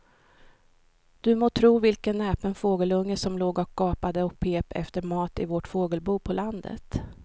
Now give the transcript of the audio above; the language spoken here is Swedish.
Du må tro vilken näpen fågelunge som låg och gapade och pep efter mat i vårt fågelbo på landet.